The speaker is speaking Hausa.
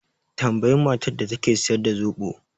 Tambayi matar da take siyar da zoɓo